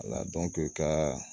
ka